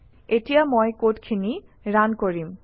এতিয়া মই কডখিনি ৰান কৰিম